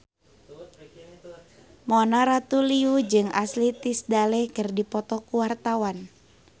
Mona Ratuliu jeung Ashley Tisdale keur dipoto ku wartawan